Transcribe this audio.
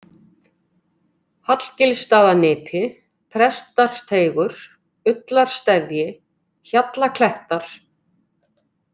Hallgilsstaðanipi, Prestarteigur, Ullarsteðji, Hjallaklettar